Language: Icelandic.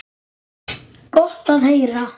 Gott að heyra.